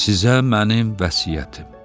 Sizə mənim vəsiyyətim.